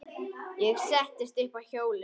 Ég settist upp á hjólið.